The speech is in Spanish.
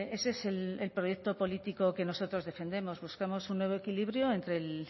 ese es el proyecto político que nosotros defendemos buscamos un nuevo equilibrio entre el